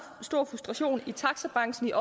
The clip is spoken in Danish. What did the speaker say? stor frustration i taxabranchen